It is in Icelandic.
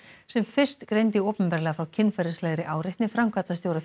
sem fyrst greindi opinberlega frá kynferðislegri áreitni framkvæmdastjóra